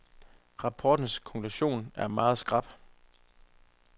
Rapportens konklusion er meget skarp.